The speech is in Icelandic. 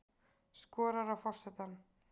Skorar á forsetann